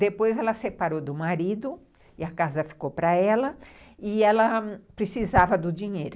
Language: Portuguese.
Depois ela separou do marido e a casa ficou para ela e ela precisava do dinheiro.